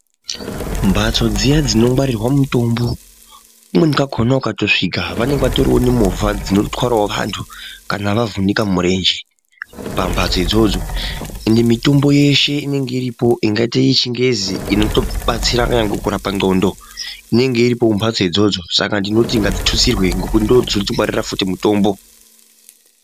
Mphtso dziya dzinongwarirwa mutombo kumweni kwakona ukatosvika vanenge vatoriwo nemovha dzinotwarawo vantu kana vavhunika murenje pambatso idzodzo. Ende mitombo yeshe inenge iripo ingaite yechingezi inotobatsira kunyangwe kurapa ndxondo inenge iripo kumbatso idzodzo. Saka ndinoti ngadzitutsirwe ngekuti ndoodzinotingwaririra futi mutombo.